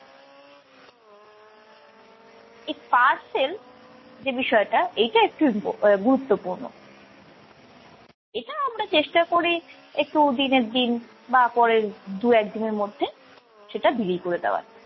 এই parcel, যে বিষয়টা এইটা একটু ইম্প~ আহ গুরুত্বপূর্ণ। এটা আমরা চেষ্টা করি একটু দিনের দিন বা পরের দু-একদিনের মধ্যে সেটা বিলি করে দেওয়ার।